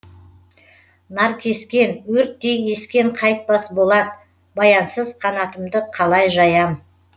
наркескен өрттей ескен қайтпас болат баянсыз қанатымды қалай жаям